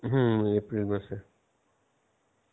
হম April মাসে